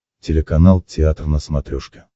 телеканал театр на смотрешке